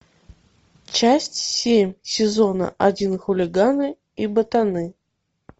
часть семь сезона один хулиганы и ботаны